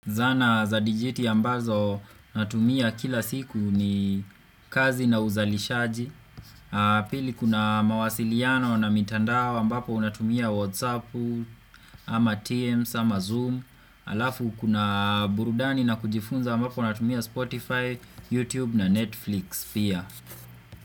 Zana za digiti ambazo natumia kila siku ni kazi na uzalishaji pili kuna mawasiliano na mitandao ambapo unatumia Whatsappu ama TMS ama Zoom Alafu kuna burudani na kujifunza ambapo unatumia Spotify, YouTube na Netflix pia.